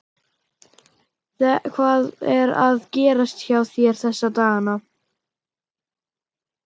Hvað er að gerast hjá þér þessa dagana?